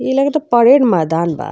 ई लगता परेड मैदान बा।